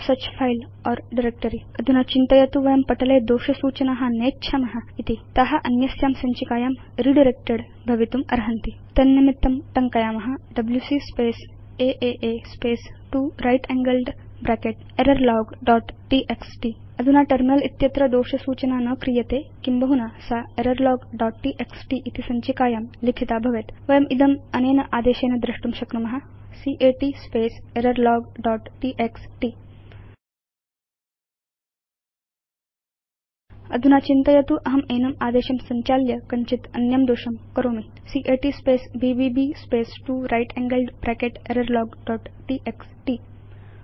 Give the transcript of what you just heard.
ईदृशी सञ्चिका संधारिका वा नास्ति इति अधुना चिन्तयतु वयं पटले दोष सूचना नेच्छाम इति ता अन्यस्यां सञ्चिकायां रिडायरेक्टेड् भवितुम् अर्हन्ति तन्निमित्तं टङ्कयाम डब्ल्यूसी space a space 2 right angled bracket error log dot TXT अधुना टर्मिनल उपरि दोष सूचना न क्रियते किं बहुना सा एररलॉग दोत् टीएक्सटी इति सञ्चिकायां लिखिता भवेत् वयम् इदम् अनेन आदेशेन द्रष्टुं शक्नुम cat space error log dot TXT अधुना चिन्तयतु अहं एनम् आदेशं संचाल्य कञ्चित् अन्यं दोषं करोमि cat space bbb space 2 right angled bracket error log dot TXT